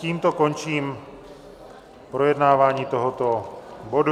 Tímto končím projednávání tohoto bodu.